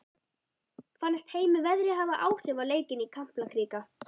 Fannst Heimi veðrið hafa áhrif á leikinn í Kaplakrika?